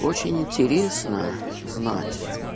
очень интересно знать